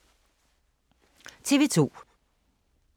TV 2